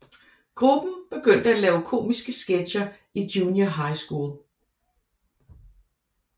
Gruppen begyndte at lave komiske sketcher i junior high school